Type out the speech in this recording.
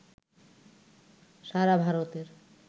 সারা ভারতের